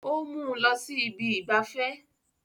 Ó mú un lọ sí ibi ìgbafẹ́